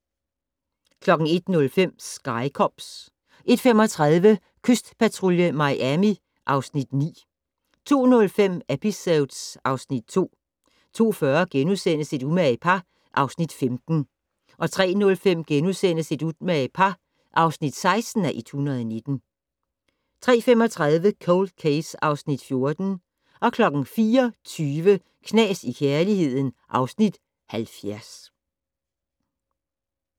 01:05: Sky Cops 01:35: Kystpatrulje Miami (Afs. 9) 02:05: Episodes (Afs. 2) 02:40: Et umage par (Afs. 15)* 03:05: Et umage par (16:119)* 03:35: Cold Case (Afs. 14) 04:20: Knas i kærligheden (Afs. 70)